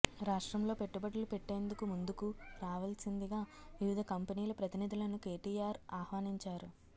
రాష్ట్రంలో పెట్టుబడులు పెట్టేందుకు ముందుకు రావాల్సిందిగా వివిధ కంపెనీల ప్రతినిధులను కేటీఆర్ ఆహ్వానించారు